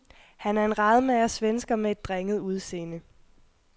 Han er en radmager svensker med et drenget udseende.